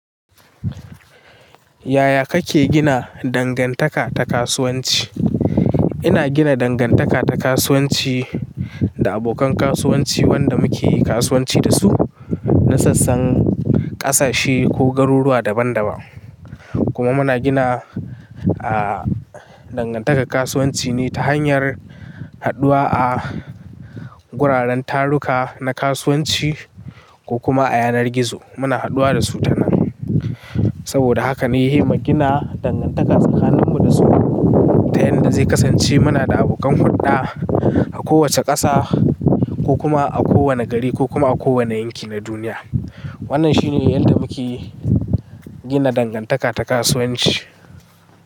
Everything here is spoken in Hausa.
Yaya kake gina dangantaka ta kasuwanci? Ina gina dangantaka ta kasuwanci da abokan kasuwanci wanda muke yi kasuwanci da su na sassan ƙasashe ko garuruwa daban-daban. Kuma muna gina, a dangantaka kasuwanci ne ta hanyar haɗuwa a wuraren taruka na kasuwanci ko kuma a yanar gizo muna haduwa da su ta nan. Saboda haka na yi himma gina dangantaka tsakaninmu da su ta yanda zai kasance muna da abokan hurɗa a kowace ƙasa ko kuma a kowane gari ko kuma a kowane yanki na duniya. Wannan shine yadda muke gina dangantaka ta kasuwanci.